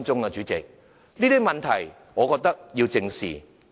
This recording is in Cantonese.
我覺得這些問題需要正視。